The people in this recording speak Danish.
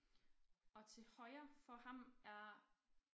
Og til højre for ham er